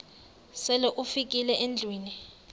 sele ufikile endlwini